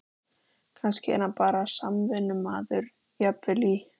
Kannski er hann bara samvinnumaður, jafnvel í